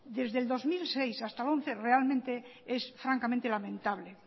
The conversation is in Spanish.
desde el dos mil seis hasta el dos mil once realmente es francamente lamentable